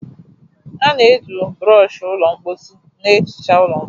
A na-eji brooshi ụlọ mposi na-ehicha ụlọ mposi